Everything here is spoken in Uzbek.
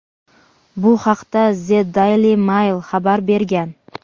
Bu haqda "The Daily Mail" xabar bergan.